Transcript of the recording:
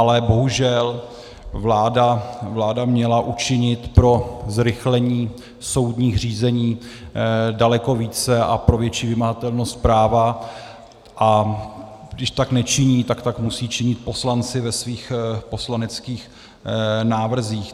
Ale bohužel vláda měla učinit pro zrychlení soudních řízení daleko více a pro větší vymahatelnost práva, a když tak nečiní, tak tak musí činit poslanci ve svých poslaneckých návrzích.